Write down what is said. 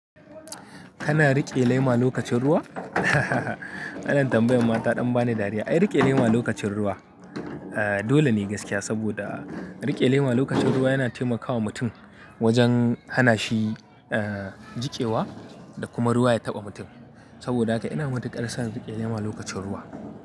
Kana riƙe lema lokacin ruwa? Ana tambayar mata ɗan bani dariya. Ai riƙe lema lokacin ruwa. Dole ne gaskiya, saboda riƙe lema lokacin ruwa yana taimakawa mutum wajen hanashi, eh, jiƙewa dakuma ruwa ya taɓa mutum. Saboda haka ina madikar son riƙe lema lokacin ruwa.